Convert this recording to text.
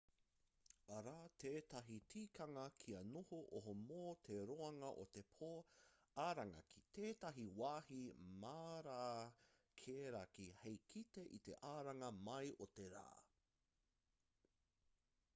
arā tētahi tikanga kia noho oho mō te roanga o te pō aranga ki tētahi wāhi mārakerake hei kite i te aranga mai o te rā